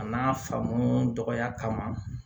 A n'a faamu dɔgɔya kama